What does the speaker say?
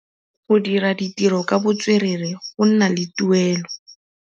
Go dira ditirô ka botswerere go na le tuelô.